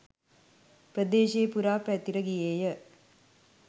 ප්‍රදේශය පුරා පැතිර ගියේය.